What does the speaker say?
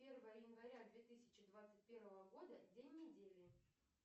первое января две тысячи двадцать первого года день недели